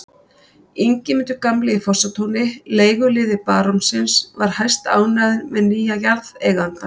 Ingimundur gamli í Fossatúni, leiguliði barónsins, var hæstánægður með nýja jarðeigandann.